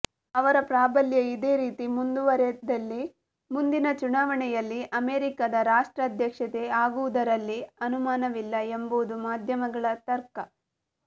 ಅವರ ಪ್ರಾಬಲ್ಯ ಇದೇ ರೀತಿ ಮುಂದುವರೆದಲ್ಲಿ ಮುಂದಿನ ಚುನಾವಣೆಯಲ್ಲಿ ಅಮೆರಿಕದ ರಾಷ್ಟ್ರಾಧ್ಯಕ್ಷೆ ಆಗುವುದರಲ್ಲಿ ಅನುಮಾನವಿಲ್ಲ ಎಂಬುದು ಮಾಧ್ಯಮಗಳ ತರ್ಕ